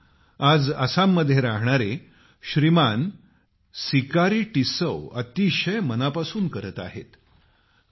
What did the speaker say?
हेच काम आज आसाममध्ये राहणारे सिकारी टिस्सौ अतिशय मनापासून करत आहेत